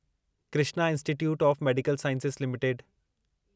Krishna institute of medical sciences limited